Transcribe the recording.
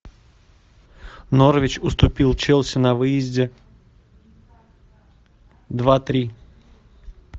норвич уступил челси на выезде два три